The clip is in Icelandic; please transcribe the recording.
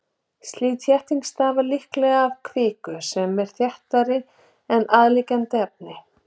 Slík þétting stafar líklega af kviku sem er þéttari en aðliggjandi efni.